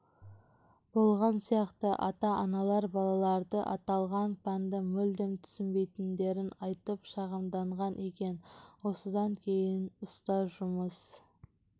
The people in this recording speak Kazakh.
болған сияқты ата-аналар балалары аталған пәнді мүлдем түсінбейтіндерін айтып шағымданған екен осыдан кейін ұстаз жұмыс